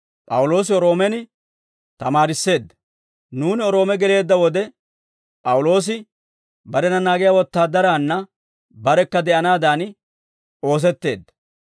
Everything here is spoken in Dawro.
Nuuni Roome geleedda wode, P'awuloosi barena naagiyaa wotaadaraanna barekka de'anaadan ooseteedda.